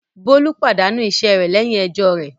Bólú pàdánù iṣẹ́ rẹ̀ lẹ́yìn ẹjọ́ rẹ̀.